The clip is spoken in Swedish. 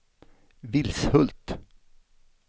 Vilshult